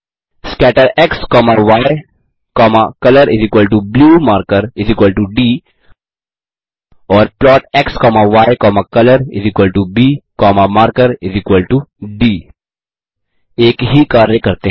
scatter x comma y comma colorblue marker d और plot x comma y comma colorb comma marker d एक ही चकारी करते हैं